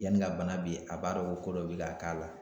Yanni ka bana bi a b'a dɔn ko dɔ b'i ka k'a la